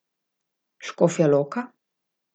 Škofja Loka?